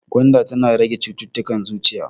Gwanda tana rage cittutukan zuciya.